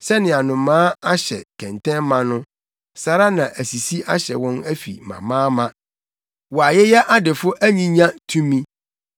Sɛnea nnomaa ahyɛ kɛntɛn ma no saa ara na asisi ahyɛ wɔn afi amaama; wɔayeyɛ adefo anyinya tumi,